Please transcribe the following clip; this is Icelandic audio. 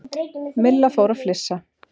Milla fór að flissa.